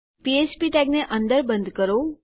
ફ્ફ્પ ટેગને અંદર બંધ કરો